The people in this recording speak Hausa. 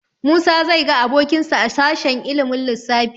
Musa zai ga abokinsa a sashen ilimin lissafi.